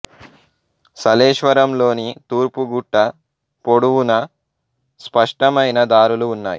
సలేశ్వరం లోని తూర్పు గుట్ట పొడువునా స్పష్టమైన దారులు ఉన్నాయి